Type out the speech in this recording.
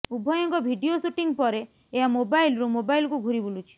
ଉଭୟଙ୍କ video shooting ପରେ ଏହା ମୋବାଇଲରୁ ମୋବାଇଲକୁ ଘୂରି ବୁଲୁଛି